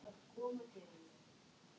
Pólunum og þó víðar væri leitað.